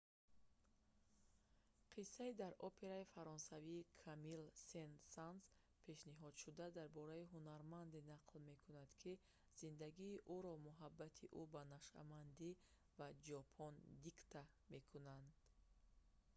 қиссаи дар операи фаронсавии камилл сен-санс пешниҳодшуда дар бораи ҳунарманде нақл мекунад ки зиндагии ӯро муҳаббати ӯ ба нашъамандӣ ва ҷопон дикта мекунад